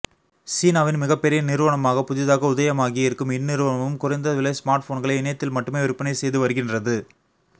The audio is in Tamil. சீனாவின் மிகப்பெரிய நிறுவனமாக புதிதாக உதயமாகியிருக்கும் இந்நிறுவனமும் குறைந்த விலை ஸ்மார்ட் போன்களை இணையத்தில் மட்டுமே விற்பனை செய்து வருகின்றது